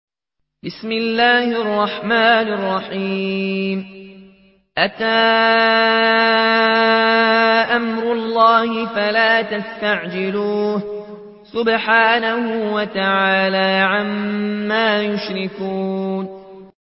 أَتَىٰ أَمْرُ اللَّهِ فَلَا تَسْتَعْجِلُوهُ ۚ سُبْحَانَهُ وَتَعَالَىٰ عَمَّا يُشْرِكُونَ